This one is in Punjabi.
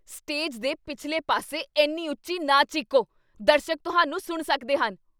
ਸਟੇਜ ਦੇ ਪਿਛਲੇ ਪਾਸੇ ਇੰਨੀ ਉੱਚੀ ਨਾ ਚੀਕੋ। ਦਰਸ਼ਕ ਤੁਹਾਨੂੰ ਸੁਣ ਸਕਦੇ ਹਨ।